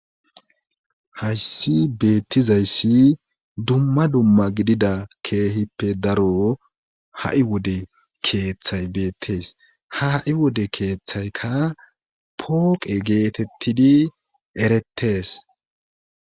Hayssi beettizayssi dumma dumma gidida keehippe daro ha7i wode keeththay beettees ha ha7i wode keeththaykka pooqe geetettidi erettees.